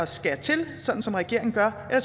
skære til som regeringen gør eller